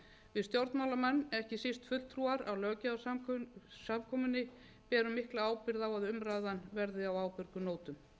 við stjórnmálamenn ekki síst fulltrúar á löggjafarsamkomunni berum mikla ábyrgð á að umræðan verði á ábyrgum nótum